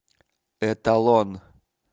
эталон